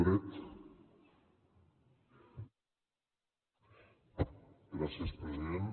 gràcies president